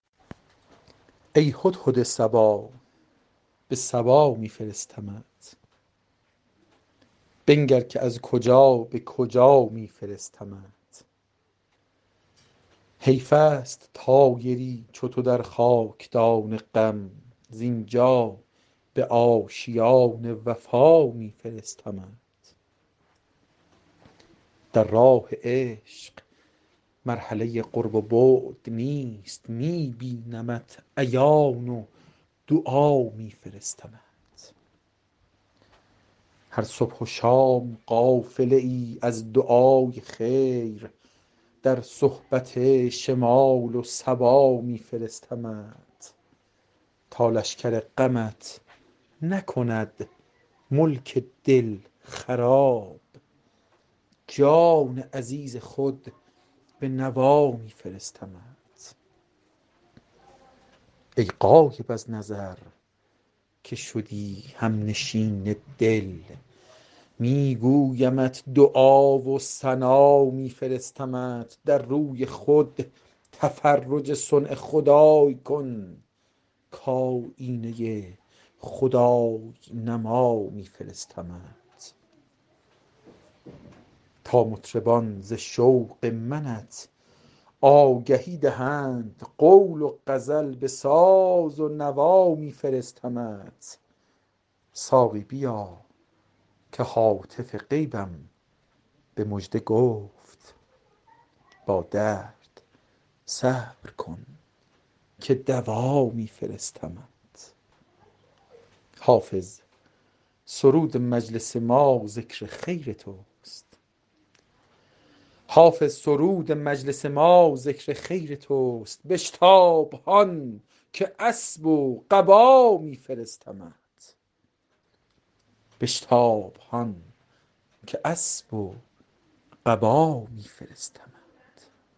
ای هدهد صبا به سبا می فرستمت بنگر که از کجا به کجا می فرستمت حیف است طایری چو تو در خاک دان غم زین جا به آشیان وفا می فرستمت در راه عشق مرحله قرب و بعد نیست می بینمت عیان و دعا می فرستمت هر صبح و شام قافله ای از دعای خیر در صحبت شمال و صبا می فرستمت تا لشکر غمت نکند ملک دل خراب جان عزیز خود به نوا می فرستمت ای غایب از نظر که شدی هم نشین دل می گویمت دعا و ثنا می فرستمت در روی خود تفرج صنع خدای کن کآیینه خدای نما می فرستمت تا مطربان ز شوق منت آگهی دهند قول و غزل به ساز و نوا می فرستمت ساقی بیا که هاتف غیبم به مژده گفت با درد صبر کن که دوا می فرستمت حافظ سرود مجلس ما ذکر خیر توست بشتاب هان که اسب و قبا می فرستمت